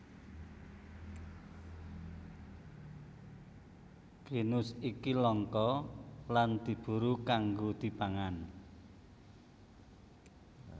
Genus iki langka lan diburu kanggo dipangan